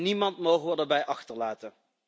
Niemand mogen we daarbij achterlaten.